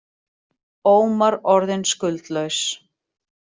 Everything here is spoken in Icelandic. Ómar orðinn skuldlaus